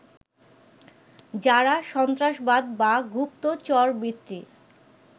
যারা সন্ত্রাসবাদ বা গুপ্তচরবৃত্তির